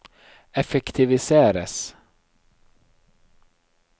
effektiviseres